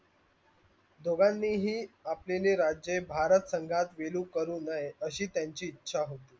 दोगाणी ही आपल्याणी राजे भारत संगात विलू करू नये अशी त्यांची इच्छा होती.